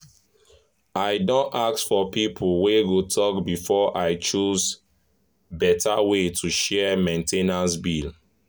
i don ask for people wey go talk before i choose betta way to share main ten ance bills.